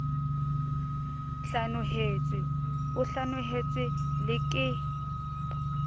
hlanohetswe o hlanohetswe le ke